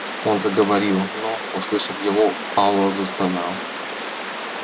он заговорил но услышав его пауэлл застонал